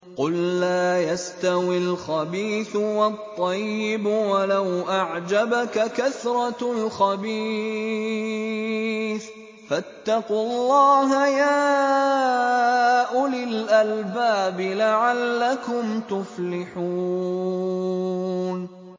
قُل لَّا يَسْتَوِي الْخَبِيثُ وَالطَّيِّبُ وَلَوْ أَعْجَبَكَ كَثْرَةُ الْخَبِيثِ ۚ فَاتَّقُوا اللَّهَ يَا أُولِي الْأَلْبَابِ لَعَلَّكُمْ تُفْلِحُونَ